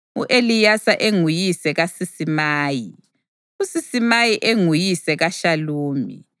u-Eleyasa enguyise kaSisimayi, uSisimayi enguyise kaShalumi,